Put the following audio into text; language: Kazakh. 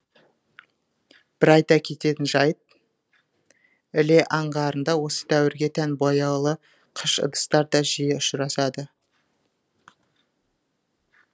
бір айта кететін жайт іле аңғарында осы дәуірге тән бояулы қыш ыдыстар да жиі ұшырасады